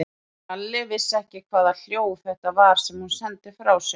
Lalli vissi ekki hvaða hljóð þetta var sem hún sendi frá sér.